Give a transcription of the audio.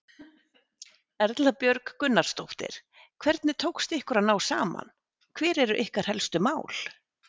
Erla Björg Gunnarsdóttir: Hvernig tókst ykkur að ná saman, hver eru ykkar helstu mál?